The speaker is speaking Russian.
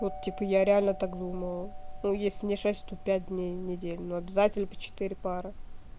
вот типа я реально так думала ну если не шесть то пять дней в неделю но обязательно по четыре пары